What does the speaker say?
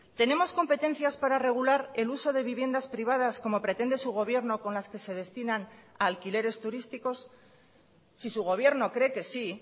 tenemos competencias para regular el uso de viviendas privadas como pretende su gobierno con las que se destinan a alquileres turísticos si su gobierno cree que sí